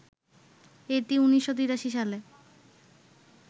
এটি ১৯৮৩ সালে